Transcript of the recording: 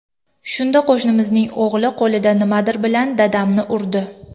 Shunda qo‘shnimizning o‘g‘li qo‘lida nimadir bilan dadamni urdi.